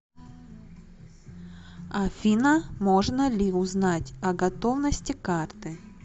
афина можно ли узнать о готовности карты